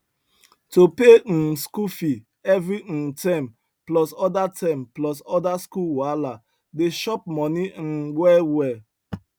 to pay um school fee every um term plus other term plus other school wahala dey chop money um well well